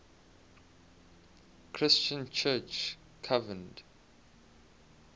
christian church convened